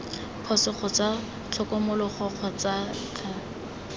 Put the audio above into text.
phoso kgotsa tlhokomologo kgotsa c